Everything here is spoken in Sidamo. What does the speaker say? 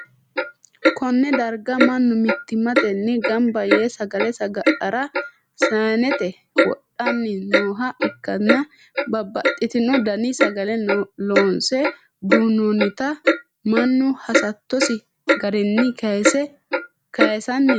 konne darga mannu mittimmatenni gamba yee sagale saga'lara saanete wodhanni nooha ikkanna, babbxxitino dani sagale loonse duu'noonnita mannu hasattosi garinni kayiisanni no.